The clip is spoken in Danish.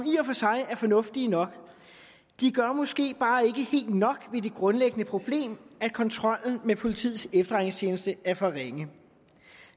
er fornuftige nok de gør måske bare ikke helt nok ved det grundlæggende problem at kontrollen med politiets efterretningstjeneste er for ringe